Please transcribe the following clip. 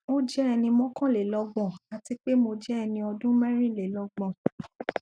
o jẹ ẹni mọkanlelọgbọn ati pe mo jẹ ẹni ọdun mẹrinlelọgbọn